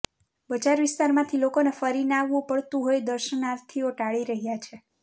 બજાર વિસ્તારમાંથી લોકોને ફરીને આવવું પડતું હોઇ દર્શનાર્થીઓ ટાળી રહ્યા છે